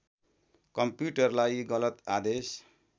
कम्प्युटरलाई गलत आदेश